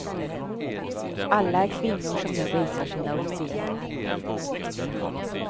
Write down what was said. Alla är kvinnor som nu visar sina uppfinningar.